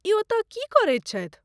ई ओतय की करैत छथि?